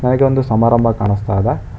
ನಗೆ ಒಂದು ಸಮಾರಂಭ ಕಾಣಸ್ತಾ ಇದೆ.